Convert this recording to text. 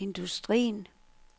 industrien